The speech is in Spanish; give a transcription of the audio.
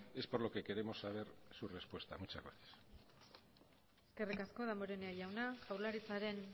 es por lo que queremos saber su respuesta muchas gracias eskerrik asko damborenea jauna jaurlaritzaren